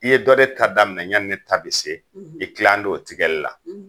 I ye dɔ de ta daminɛ yanni ne ta bi se, i tila ne don o tigɛli la.